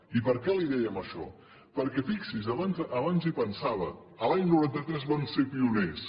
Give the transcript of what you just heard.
i per què li dèiem això perquè fixi s’hi abans hi pensava l’any noranta tres vam ser pioners